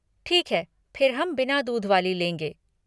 ठीक है फिर हम बिना दूध वाली लेंगे।